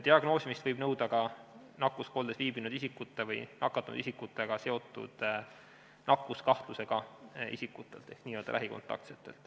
Diagnoosimist võib nõuda ka nakkuskoldes viibinud isikute või nakatunud isikutega seotud nakkuskahtlusega isikute ehk n-ö lähikontaktsete puhul.